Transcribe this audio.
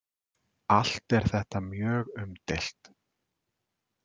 Allt er þetta mjög umdeilt.